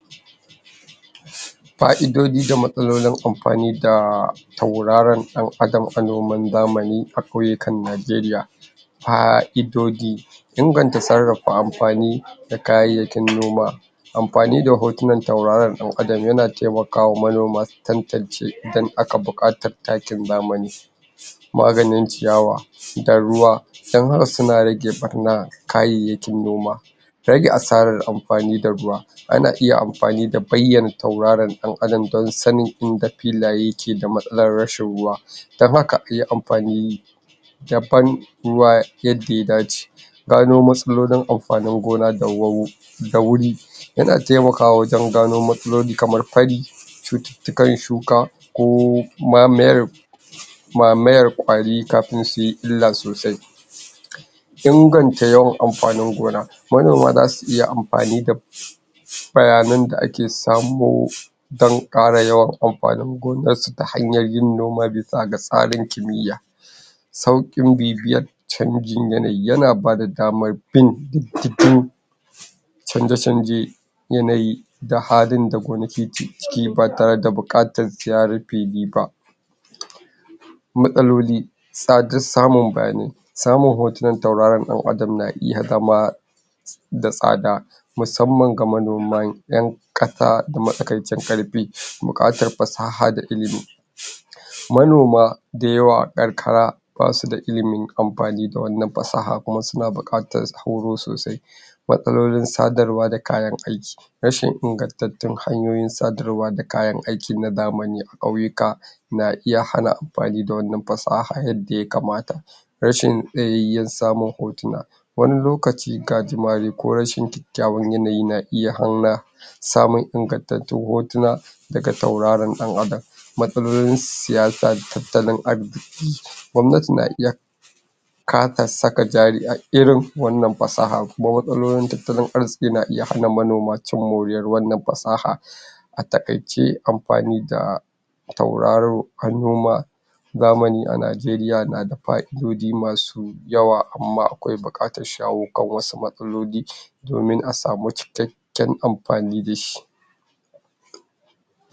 Fa'idojin da masalolin amfani da tauraro da adam a noma na zamani a kauyuka Nigeria. fa'idoji ingata sarafa amfani da kaya aiki noma amfani da hotuna turaro da adam ya na taimakawa na noma tantance dan aka bukata taki zamani magani ciyawa da ruwa saunawa su na rike barna kayanki noma tanki asara amfani da ruwa ana iya amfanii da baiya turaro da adam dan sani inga filaya yake da masala rashin ruwa dan haka de amfani daban ruwa yake dace na noma da amfani gona turoro da wuri yana taimaka wa dagano masloli kama fari citika yau shuka ko ma'mer ma'mer kauri ka'fin su ila sosai ciganja yauwa amfani gona wannan za su iya afamni da bayyani da ake samu dan kara yauwa anfani hanya irin noma da ake samiki miya sauki bibiyar chanjin yanayi yana bada daman bin cikin chanje-chanje yanayi da halin da kun ciki ki fata da bukatar tarife ne ba matsaloli tsadun samun bani samun otimen tauraran dan adam na iya zama da tsada mussanman ga manoma yan kasa matsikancin karfi bukatar fasaha da ilmi manoma dayawa yan ikra ba suda ilmin amfani da wannan fasaha kuma suna bukatar horo sosai matsalolin tsadarwa da kayan aiki rashin ingattatun hayoyin sadarwa da kayan aiki na zamani kauyo ka na iya hana amfani da wannan fasaha yanda ya kamata rashin tsayayyen samun hotuna wani lokaci ka jima dai ko kyaun yanayi ya iya hana samun ingatattun hotuna daga tauraron dan adam matsalolin siyasa, tatalin arziki fi gwamnati na iya kakar saka jari a irin wannan fasaha. Kuma matsalolin tatalin arziki na iya hana manoma cin moriya wannan fasaha atakai ce amfani da tauraro han noma Zamani a Nigeria na da fa'idoji masu yawa amma akwai bukatar shawokan wasu matsaloli domin asamu cikakiyyen amfani dashi.